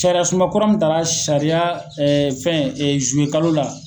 Cariya sunba kura mun tara sariya fɛn zuwe kalo la.